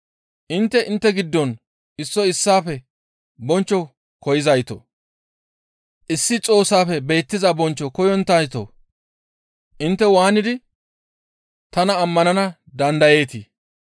Intte intte giddon issoy issaafe bonchcho koyzaytoo! Issi Xoossafe beettiza bonchcho koyonttayto intte waanidi tana ammanana dandayeetii?